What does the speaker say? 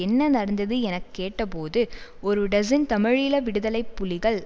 என்ன நடந்தது என கேட்டபோது ஒரு டசின் தமிழீழ விடுதலை புலிகள்